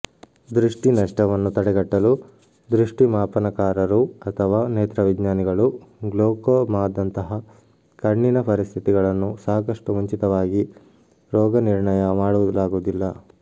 ದೃಷ್ಟಿ ನಷ್ಟವನ್ನು ತಡೆಗಟ್ಟಲು ದೃಷ್ಟಿಮಾಪನಕಾರರು ಅಥವಾ ನೇತ್ರವಿಜ್ಞಾನಿಗಳು ಗ್ಲೋಕೋಮಾದಂತಹ ಕಣ್ಣಿನ ಪರಿಸ್ಥಿತಿಗಳನ್ನು ಸಾಕಷ್ಟು ಮುಂಚಿತವಾಗಿ ರೋಗನಿರ್ಣಯ ಮಾಡಲಾಗುವುದಿಲ್ಲ